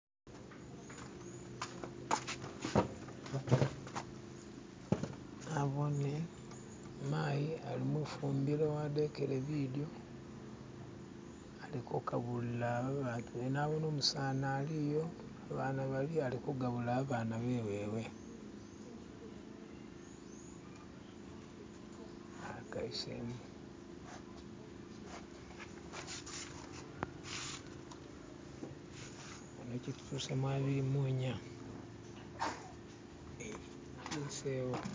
nabone mayi ali mufumbilo wadekele bidyo aliko kakubulila abatube nabone umusani aliyo abana baliyo alikugabula abana bewewe